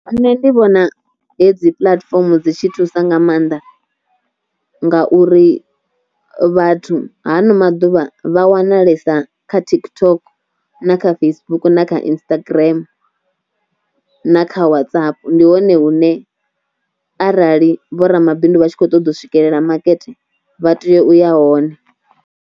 Nṋe ndi vhona hedzi puḽatifomo dzi tshi thusa nga maanḓa, ngauri vhathu hano maḓuvha vha wanalesa kha TikTok na kha Facebook na Instagram na kha WhatsApp ndi hone hune arali vho ramabindu vha tshi kho ṱoḓa u swikelela makete vha tea uya hone.